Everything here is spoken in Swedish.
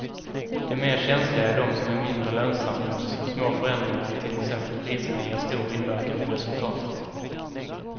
De mer känsliga är de som är mindre lönsamma eftersom små förändringar i till exempel priserna ger stor inverkan på resultatet.